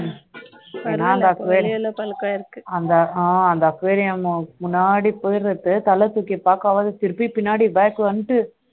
வெளில பல்கா இருக்கு அந்த aquarium முன்னடி போயறது தலை தூக்கி பரப்ப திருப்பி பின்னாடி back வந்துடு